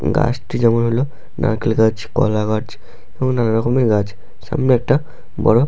গাছটি যেমন হলো নারকেল গাছ কলা গাছ এবং নানারকমের গাছ। সামনে একটা বড় --